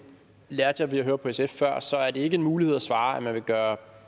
lærte jeg ved at høre på sf før så er det ikke en mulighed at svare at man vil gøre